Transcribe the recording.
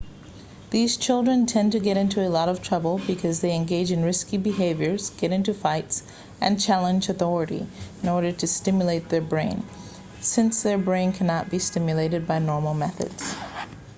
these children tend to get into a lot of trouble because they engage in risky behaviors get into fights and challenge authority in order to stimulate their brain since their brain can not be stimulated by normal methods